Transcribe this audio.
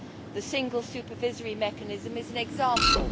The Single Supervisory Mechanism is an example.